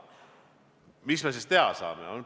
Mis me siis teha saame?